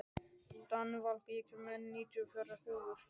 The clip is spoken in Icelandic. Danival, ég kom með níutíu og fjórar húfur!